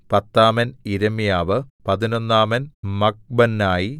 പത്താമൻ യിരെമ്യാവ് പതിനൊന്നാമൻ മഖ്ബന്നായി